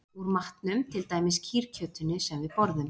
Úr matnum, til dæmis kýrkjötinu sem við borðum